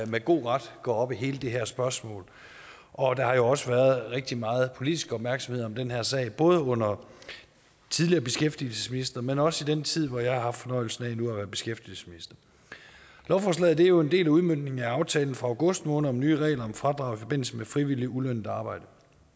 med god ret går op i hele det her spørgsmål og der har jo også været rigtig meget politisk opmærksomhed om den her sag både under tidligere beskæftigelsesministre men også i den tid hvor jeg har haft fornøjelsen af at være beskæftigelsesminister lovforslaget er jo en del af udmøntningen af aftalen fra august måned om nye regler om fradrag i forbindelse med frivilligt ulønnet arbejde